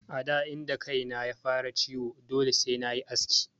A da inda kaina ya fara ciwo dole sai nayi aski.